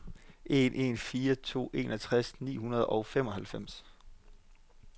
en en fire to enogtres ni hundrede og femoghalvfems